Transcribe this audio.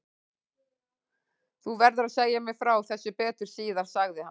Þú verður að segja mér frá þessu betur síðar sagði hann.